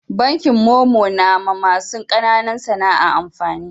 Bankin momo na ma masu kananan sana'a amfani